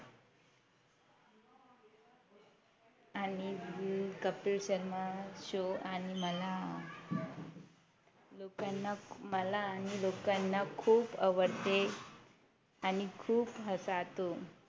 आणि कपिल शर्मा Show आणि मला लोकांना मला आणि लोकांना खूप आवडते आणि खूप हसातो